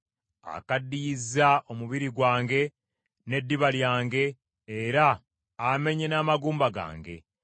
Akaddiyizza omubiri gwange n’eddiba lyange era amenye n’amagumba gange.